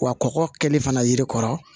Wa kɔkɔ kɛli fana yiri kɔrɔ